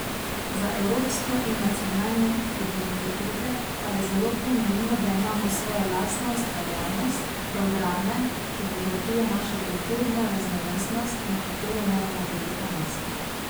Za evropsko in nacionalne identitete pa je zelo pomembno, da imamo svojo lastno ustvarjalnost, programe, ki bogatijo našo kulturno raznovrstnost, na katero moramo biti ponosni.